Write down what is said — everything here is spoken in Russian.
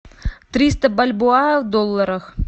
триста бальбоа в долларах